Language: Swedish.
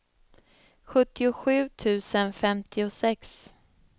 sjuttiosju tusen femtiosex